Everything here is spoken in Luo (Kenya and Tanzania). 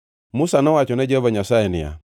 Musa nowacho ne Jehova Nyasaye ni,